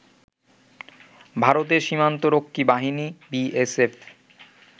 ভারতের সীমান্তরক্ষী বাহিনী বিএসএফ